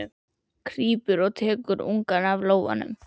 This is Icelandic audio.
Krýpur og tekur ungann í lófann.